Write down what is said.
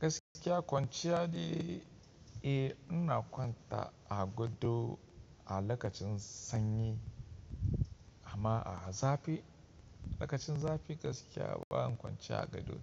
Gaskiya kwanciyar dai eh, ina kwanta a gado a lokacin sanyi amma a zafi lokacin zafi gaskiya ba in kwance a gado.